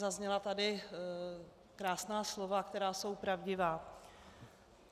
Zazněla tady krásná slova, která jsou pravdivá.